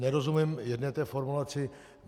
Nerozumím jedné té formulaci.